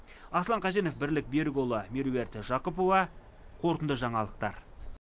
аслан қаженов бірлік берікұлы меруерт жақыпова қорытынды жаңалықтар